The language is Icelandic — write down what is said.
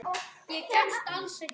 Líkönin eru ólík.